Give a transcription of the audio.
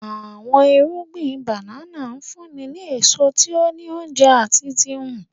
Awọn irugbin banana nfunni ni eso ti o ni ounjẹ ati ti nhu.